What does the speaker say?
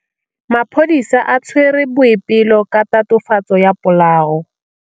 Maphodisa a tshwere Boipelo ka tatofatsô ya polaô.